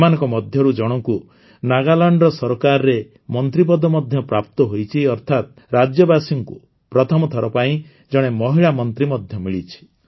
ଏମାନଙ୍କ ମଧ୍ୟରୁ ଜଣଙ୍କୁ ନାଗାଲାଣ୍ଡର ସରକାରରେ ମନ୍ତ୍ରୀପଦ ମଧ୍ୟ ପ୍ରାପ୍ତ ହୋଇଛି ଅର୍ଥାତ୍ ରାଜ୍ୟବାସୀଙ୍କୁ ପ୍ରଥମଥର ପାଇଁ ଜଣେ ମହିଳା ମନ୍ତ୍ରୀ ମଧ୍ୟ ମିଳିଛି